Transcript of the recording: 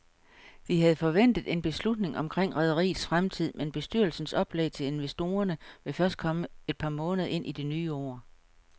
Vi havde forventet en beslutning omkring rederiets fremtid, men bestyrelsens oplæg til investorerne vil først komme et par måneder ind i det nye år.